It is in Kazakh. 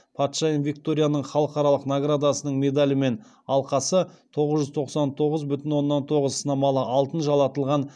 патшайым викторияның халықаралық наградасының медалі мен алқасы тоғыз жүз тоқсан тоғыз бүтін оннан тоғыз сынамалы алтын жалатылған